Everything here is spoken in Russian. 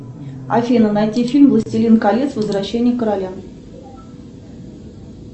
афина найди фильм властелин колец возвращение короля